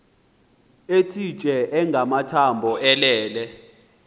ethitye engamathambo elele